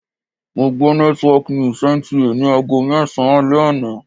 Mo gbọ́ network news NTA ni aago mẹ́sàn-an alẹ́ àná.